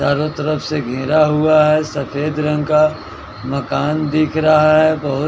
चारों तरफ से घिरा हुआ है सफेद रंग का मकान दिख रहा है बहोत--